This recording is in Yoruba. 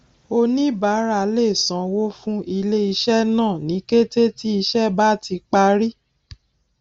oníbàárà lè sanwó fún iléiṣẹ náà ní kété tí ìṣe bá ti parí